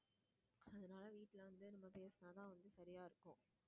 அதனால வீட்டுல வந்து நம்ம பேசினாதான் வந்து சரியா இருக்கும்